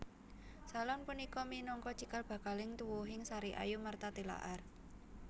Salon punika minangka cikal bakaling tuwuhing Sariayu Martha Tilaar